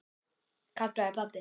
kallaði pabbi.